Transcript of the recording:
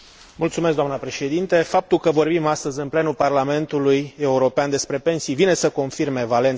Faptul că vorbim astăzi, în plenul Parlamentului European, despre pensii vine să confirme valența europeană a acestora.